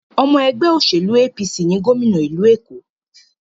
Ọmọ ẹgbẹ́ òṣèlú APC ni gòmìnà ìlú Èkó.